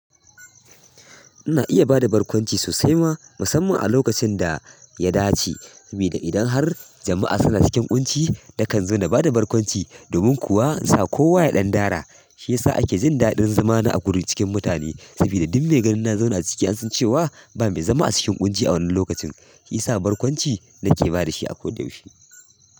Ina iya ba da barkwanci sosai ma, musamman a lokacin da ya dace. Ami da idan har jama'a suna cikin ƙunci, na kan zo na ba da barkwanci, domin kuwa in sa kowa ya ɗan dara. SHi yasa ake jin daɗin zama da haƙuri cikin mutane. Saboda duk me ganin na zauna a ciki an san cewa ba mai zama a cikin ƙunci a wannan lokacin, shi isa barkwanci na ke ba da shi a ko da yaushe.